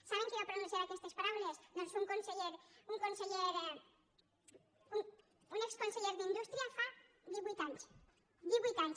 saben qui va pronunciar aquestes paraules doncs un exconseller d’indústria fa divuit anys divuit anys